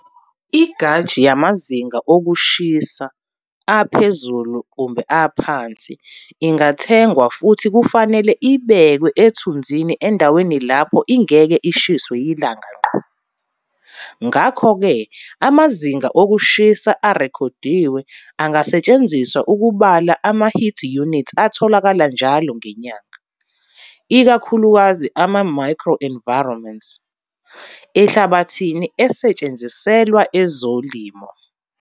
I-gauge yamazinga okushisa aphezulu kumbe aphansi ingathengwa futhi kufanele ibekwe ethunzini endaweni lapho ingeke ishiswe yilanga ngqo. Ngakho ke amazinga okushisa arekhodiwe angasetshenziswa ukubala ama-heat unit atholakala njalo ngenyanga, ikakhulukazi ama-micro environments, ehlabathini esetshenziselwa izilimo.